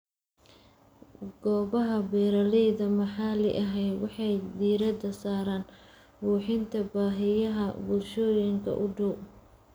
Goobaha beeralayda maxalliga ahi waxay diiradda saaraan buuxinta baahiyaha bulshooyinka u dhow.